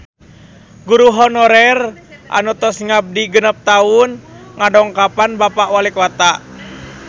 Guru honorer anu tos ngabdi genep tahun ngadongkapan Bapak Walikota